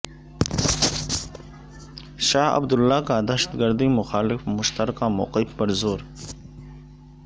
شاہ Abdullah کا دہشت گردی مخالف مشترکہ موقف پر زور